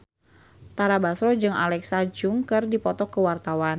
Tara Basro jeung Alexa Chung keur dipoto ku wartawan